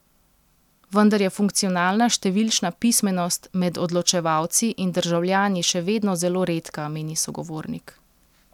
Vendar je funkcionalna številčna pismenost med odločevalci in državljani še vedno zelo redka, meni sogovornik.